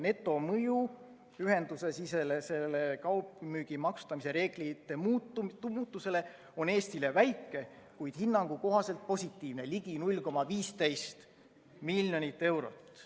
Netomõju ühendusesisese kaugmüügi maksustamise reeglite muudatusel on Eestile väike, kuid hinnangu kohaselt positiivne, ligi 0,15 miljonit eurot.